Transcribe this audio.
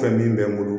Fɛn min bɛ n bolo